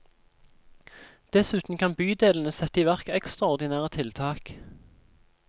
Dessuten kan bydelene sette i verk ekstraordinære tiltak.